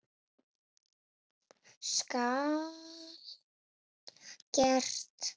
Skal gert!